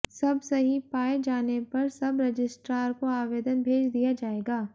सब सही पाए जाने पर सब रजिस्ट्रार को आवेदन भेज दिया जाएगा